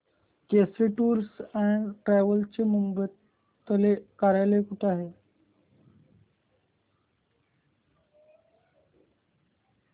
Kesari tours and travels चे मुंबई तले कार्यालय कुठे आहे